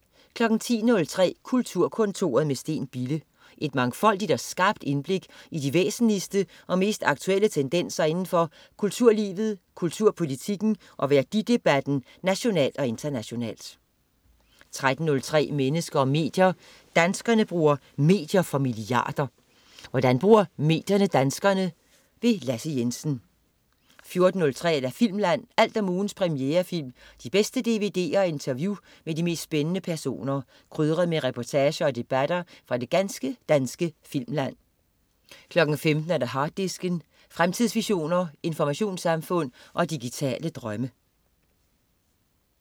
10.03 Kulturkontoret med Steen Bille. Et mangfoldigt og skarpt indblik i de væsentligste og mest aktuelle tendenser indenfor kulturlivet, kulturpolitikken og værdidebatten nationalt og internationalt 13.03 Mennesker og medier. Danskerne bruger medier for milliarder. Hvordan bruger medierne danskerne? Lasse Jensen 14.03 Filmland. Alt om ugens premierefilm, de bedste dvd'er og interview med de mest spændende personer, krydret med reportager og debatter fra det ganske danske filmland 15.00 Harddisken. Fremtidsvisioner, informationssamfund og digitale drømme